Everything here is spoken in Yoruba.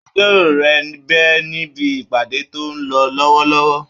Agbẹjọ́rò rẹ̀ ń bẹ níbi ìpàdé tó ń lọ lọ́wọ́lọ́wọ́